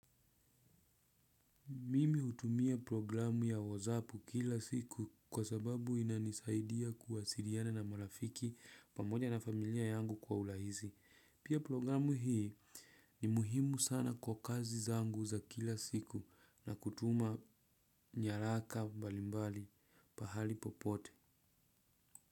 Mimi utumia programu ya wazapu kila siku kwa sababu inanisaidia kuwasiriana na marafiki pamoja na familia yangu kwa urahizi. Pia programu hii ni muhimu sana kwa kazi zangu za kila siku na kutuma nyaraka mbalimbali pahali popote.